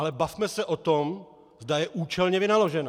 Ale bavme se o tom, zda je účelně vynaložena.